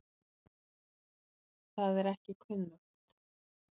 Það er ekki kunnugt.